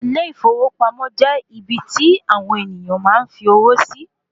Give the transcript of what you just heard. Ilé ìfowópamọ́ jẹ́ ibi tí àwon ènìyàn máa n fi owó sí.